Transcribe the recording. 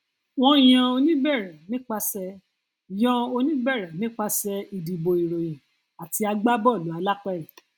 wọn yan oníbẹrẹ nípasẹ yan oníbẹrẹ nípasẹ ìdìbò ìròyìn àti agbábọọlù alápèrẹ